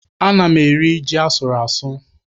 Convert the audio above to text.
Ana m eri ji asụrụ asụ.